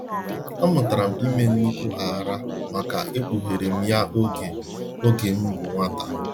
A mụtara m ime nnukwu aghara maka ekpugherem ya oge oge mbụ nwata.